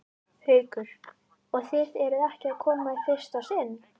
Haukur: Og þið eruð ekki að koma í fyrsta sinn?